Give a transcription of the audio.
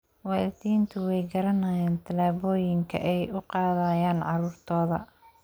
Waalidiintu way garanayaan tallaabooyinka ay u qaadayaan carruurtooda.